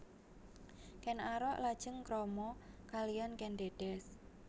Ken Arok lajeng krama kaliyan Kèn Dèdès